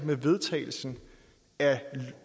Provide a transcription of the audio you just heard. med vedtagelsen af